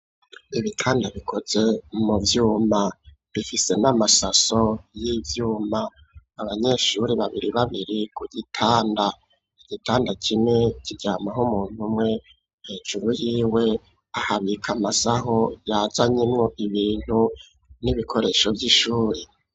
Ibitanda bikoze mu vyuma. Bifise n'amasaso y'ivyuma. Abanyeshuri babiri babiri ku gitanda. Igitanda kimwe kiryamako umuntu umwe. Hejuru yiwe, ahabika amasaho yazanyemwo ibintu n'ibikoresho vy'ishuri.